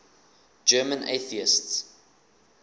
german atheists